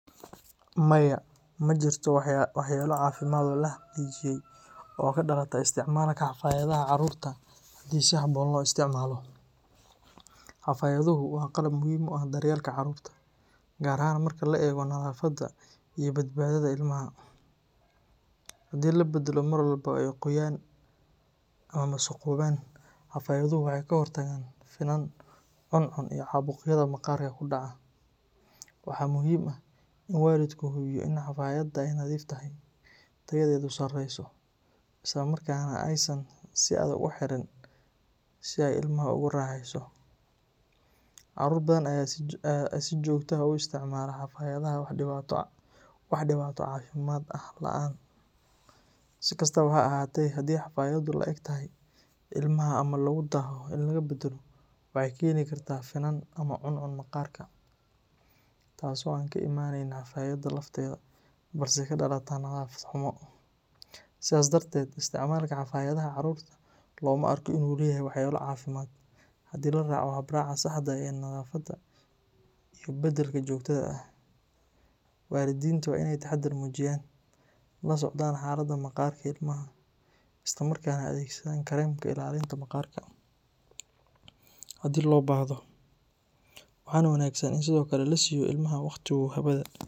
Maya, ma jirto waxyeelo caafimaad oo la xaqiijiyay oo ka dhalata isticmaalka xafaayadaha carruurta haddii si habboon loo isticmaalo. Xafaayaduhu waa qalab muhiim u ah daryeelka carruurta, gaar ahaan marka la eego nadaafadda iyo badbaadada ilmaha. Haddii la beddelo mar walba oo ay qoyaan ama wasakhoobaan, xafaayaduhu waxay ka hortagaan finan, cuncun iyo caabuqyada maqaarka ku dhaca. Waxaa muhiim ah in waalidku hubiyo in xafaayadda ay nadiif tahay, tayadeedu sareyso, isla markaana aysan si adag u xirin si ay ilmaha ugu raaxeyso. Carruur badan ayaa si joogto ah u isticmaala xafaayadaha wax dhibaato caafimaad ah la’aan. Si kastaba ha ahaatee, haddii xafaayaddu la’eg tahay ilmaha ama lagu daaho in la beddelo, waxay keeni kartaa finan ama cuncun maqaarka ah, taas oo aan ka imanayn xafaayadda lafteeda balse ka dhalata nadaafad xumo. Sidaas darteed, isticmaalka xafaayadaha carruurta looma arko in uu leeyahay waxyeelo caafimaad haddii la raaco habraaca saxda ah ee nadaafadda iyo beddelka joogtada ah. Waalidiinta waa in ay taxadar muujiyaan, la socdaan xaaladda maqaarka ilmaha, islamarkaana adeegsadaan kareemka ilaalinta maqaarka haddii loo baahdo. Waxaa wanaagsan in sidoo kale la siiyo ilmaha waqti uu hawada.